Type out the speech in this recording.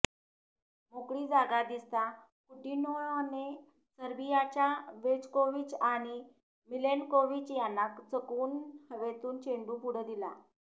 मोकळी जागा दिसता कुटिन्होने सर्बियाच्या वेजकोविच आणि मिलेनकोविच यांना चकवून हवेतून चेंडू पुढ दिला